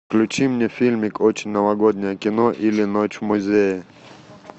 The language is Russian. включи мне фильмик очень новогоднее кино или ночь в музее